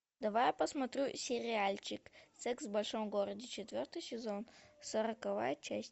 давай я посмотрю сериальчик секс в большом городе четвертый сезон сороковая часть